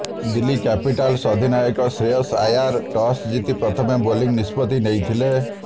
Delhi capitals ଅଧିନାୟକ Shreyas Iyer toss ଜିତି ପ୍ରଥମେ ବୋଲିଂ ନିଷ୍ପତ୍ତି ନେଇଥିଲେ